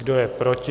Kdo je proti?